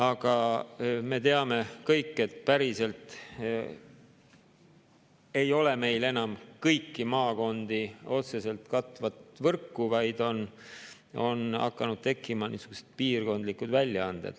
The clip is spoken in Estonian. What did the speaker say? Aga me teame kõik, et päriselt ei ole meil enam kõiki maakondi otseselt katvat võrku, vaid on hakanud tekkima niisugused piirkondlikud väljaanded.